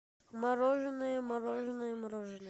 мороженое мороженое мороженое